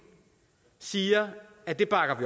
siger at det bakker